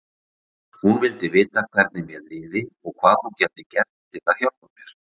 Hún vildi vita hvernig mér liði og hvað hún gæti gert til að hjálpa mér.